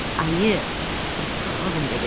Ayı, Kristofer Robin dedi.